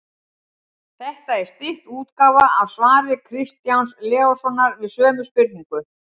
Þetta er stytt útgáfa af svari Kristjáns Leóssonar við sömu spurningu.